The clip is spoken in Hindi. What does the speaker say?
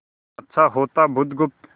अच्छा होता बुधगुप्त